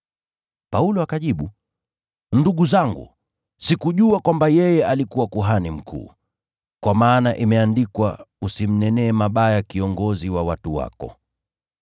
Paulo akajibu, “Ndugu zangu, sikujua kwamba yeye alikuwa kuhani mkuu. Kwa maana imeandikwa, ‘Usimnenee mabaya kiongozi wa watu wako.’ ”